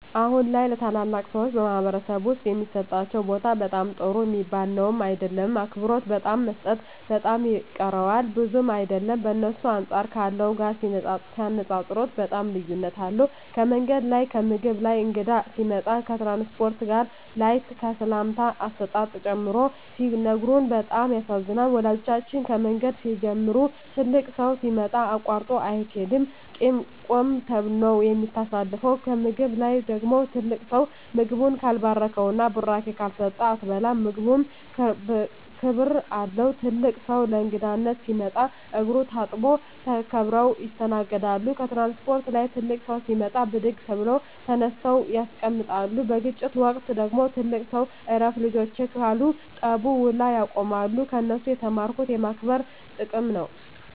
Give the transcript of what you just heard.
አሁን ላይ ለተላላቅ ሰዎች በማኅበረሰብ ዉስጥ የሚሠጣቸው ቦታ በጣም ጥሩ ሚባል ነዉም አይደለም አክብሮት በጣም መሰጠት በጣም ይቀረዋል ብዙም አይደለም በእነሱ አንጻር ካለው ጋር ሲነጻጽጽሩት በጣም ልዩነት አለዉ ከምንገድ ላይ ከምግብ ላይ ከእንግዳ ሲመጣ ከትራንስፖርት ላይ ከሰላምታ አሰጣጥ ጨምሮ ሲነግሩን በጣም ያሳዝናል ወላጆቻችን ከምንገድ ሲንጀምሩ ትልቅ ሠው ሲመጣ አቃርጦ አይቂድም ቁመ ነው ምታሳልፈው ከምግብ ላይ ደግሞ ትልቅ ሰው ምግቡን ካልባረከዉና ብራቂ ካልሰጠ አትበላም ምግቡም ክብር አለው ትልቅ ሰው ለእንግዳነት ሲመጣ እግሩን ታጥቦ ተከብረው ይስተናገዳሉ ከትራንስፖርት ላይ ትልቅ ሰው ሲመጣ ብድግ ብለው ተነስተው ያስቀምጣሉ በግጭት ወቅት ደግሞ ትልቅ ሰው እረፍ ልጆቸ ካሉ ጠቡ ውላ ያቆማሉ ከነሱ የተማርኩት የማክበር ጥቅም ነው